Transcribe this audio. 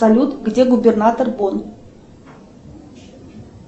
салют где губернатор бон